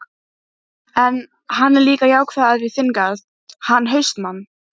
En, hann er líka jákvæður í þinn garð, hann HAustmann.